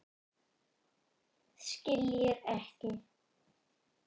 Skiljir ekki.